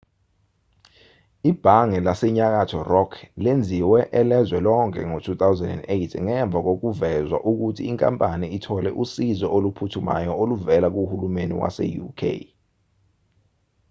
ibhange lasenyakatho rock lenziwe elezwe lonke ngo-2008 ngemva kokuvezwa ukuthi inkampani ithole usizo oluphuthumayo oluvela kuhulumeni wase-uk